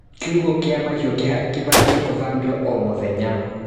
Kiugũ kia mahiũ kĩbatie gũthambio o mũthenya.